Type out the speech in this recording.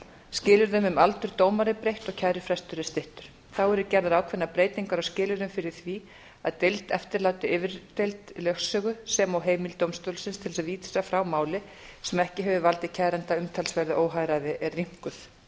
skilyrðum um aldur dómara er breytt og kærufrestur er styttur þá eru gerðar ákveðnar breytingar á skilyrðum fyrir því að deild eftirláti yfirdeild lögsögu sem og heimild dómstólsins til að vísa frá máli sem ekki hefur valdið kæranda umtalsverðu óhagræði er rýmkuð